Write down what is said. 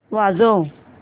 वाजव